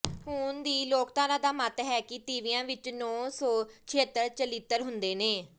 ਹੁਣ ਦੀ ਲੋਕਧਾਰਾ ਦਾ ਮੱਤ ਹੈ ਕਿ ਤੀਵੀਆਂ ਵਿੱਚ ਨੌ ਸੌ ਛਿਅੱਤਰ ਚਲਿੱਤਰ ਹੁੰਦੇ ਨੇ